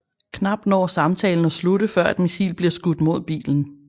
Knap når samtalen at slutte før et missil bliver skudt mod bilen